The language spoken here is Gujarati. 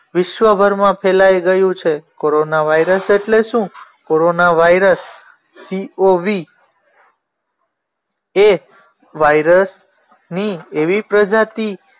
વિશ્વભરમાં ફેલાઈ ગયું છે કોરોના વાયરસ એટલે શું કોરોના વાયરસ cov એ વાઇરસ ની એવી પ્રજાતિ